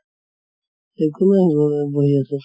একো নাই বহি আছো